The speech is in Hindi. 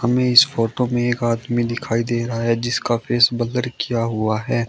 हमे इस फोटो में एक आदमी दिखाई दे रहा है जिसका फेस ब्लर किया हुआ है।